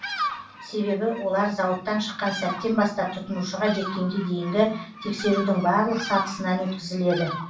себебі олар зауыттан шыққан сәттен бастап тұтынушыға жеткенге дейінгі тексерудің барлық сатысынан өткізіледі